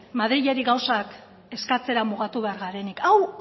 madrili gauzak eskatzera mugatu behar garenik hau